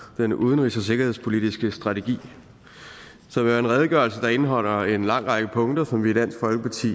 den udenrigs og sikkerhedspolitiske strategi som jo er en redegørelse der indeholder en lang række punkter som vi i dansk folkeparti